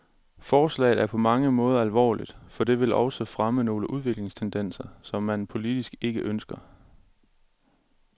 Forslaget er på mange måder alvorligt, for det vil også fremme nogle udviklingstendenser, som man politisk ikke ønsker.